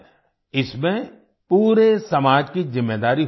इसमें पूरे समाज की ज़िम्मेदारी होती है